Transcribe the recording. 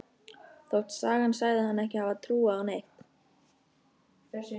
Þótt sagan segði hana ekki hafa trúað á neitt.